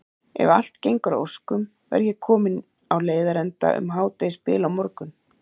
Ef allt gengur að óskum verð ég kominn á leiðarenda um hádegisbil á morgun.